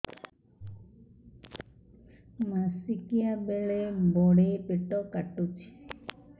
ମାସିକିଆ ବେଳେ ବଡେ ପେଟ କାଟୁଚି